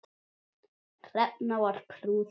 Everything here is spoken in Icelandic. Hrefna var prúð kona.